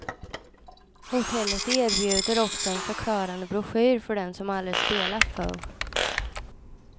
Hotellet erbjuder också en förklarande broschyr för den som aldrig spelat förr.